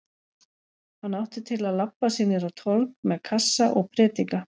Hann átti til að labba sig niður á torg með kassa og predika.